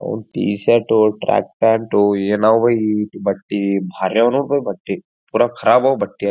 ಒಂದ T shirt track pant ಏನವು ಈ ರೀತಿ ಬಟ್ಟೆ ಭಾರಿ ಅವು ನೊಡ ಬೈಯ ಬಟ್ಟಿ ಪುರಾ ಕರಾಬ್ ಅವು ಬಟ್ಟಿ.